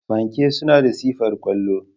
Fanke suna da sifar kwallo.